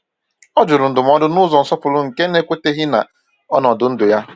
O jụrụ ndụmọdụ n’ụzọ nsọpụrụ nke na-ekweteghi na ọnọdụ ndụ ya.